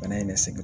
Bana in ne seginna